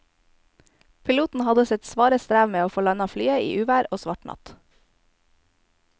Piloten hadde sitt svare strev med å få landet flyet i uvær og svart natt.